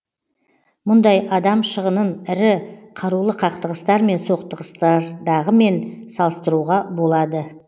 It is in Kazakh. мұндай адам шығынын ірі қарулы қақтығыстар мен соғыстардағымен салыстыруға болады